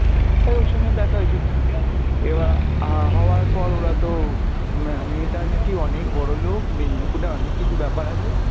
এবার ওর সঙ্গে দেখা হয়েছিলো, এবার আহ হওয়ার পর ওরা তো ম্যা~ মেয়েটা নাকি অনেক বড় লোক মেদিনীপুরে অনেক কিছু ব্যাপার আছে,